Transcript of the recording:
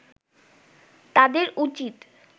তাদের উচিৎ